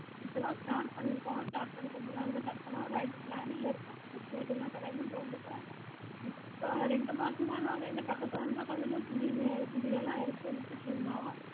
இப்போது start பணிற்கோம் start பண்ணி கொஞ்ச நாளுதா start பண்ணுனோ right planning ல இருக்கோம் இப்போல தோன்றாத இப்போ ரெண்டு மாசமா நாங்க இங்க பக்கதுல இருந்து கொஞ்ச கொஞ்ச துணில எடுத்து விட்டுட்டு இருந்தோம்